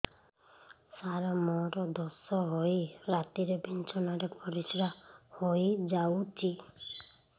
ସାର ମୋର ଦୋଷ ହୋଇ ରାତିରେ ବିଛଣାରେ ପରିସ୍ରା ହୋଇ ଯାଉଛି